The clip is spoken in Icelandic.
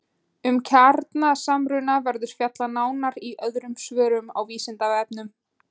Um kjarnasamruna verður fjallað nánar í öðrum svörum á Vísindavefnum.